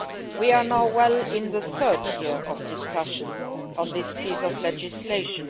We are now well into the third year of discussion on this piece of legislation.